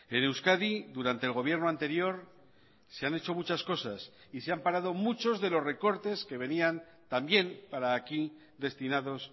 en euskadi durante el gobierno anterior se han hecho muchas cosas y se han parado muchos de los recortes que venían también para aquí destinados